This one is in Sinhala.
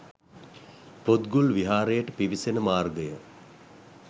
පොත් ගුල් විහාරයට පිවිසෙන මාර්ගය